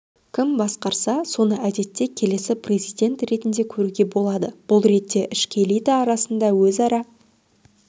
кім басқарса соны әдетте келесі президент ретінде көруге болады бұл ретте ішкі элита арасында өзара